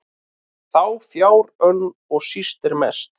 þá fjár önn og síst er mest